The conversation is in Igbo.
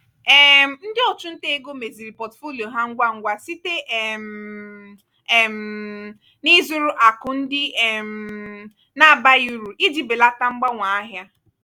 um ndị ọchụnta ego meziri pọtụfoliyo ha ngwa ngwa site um um n'ịzụrụ akụ ndị um na-abaghị uru iji belata mgbanwe ahịa.